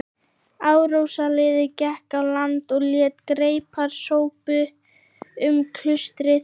Árásarliðið gekk á land og lét greipar sópa um klaustrið.